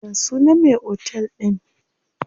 Ya sunan me otel din?